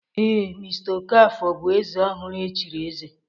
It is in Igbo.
Ee, mr Okafor bụ eze ọhụrụ e chiri eze